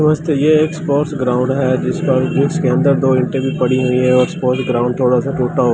दोस्त ये sports ground हैं जिस पर जिस के अंदर दो पड़ी हुईं हैं स्पोर्ट्स ग्राउंड थोडासा टूटा हु--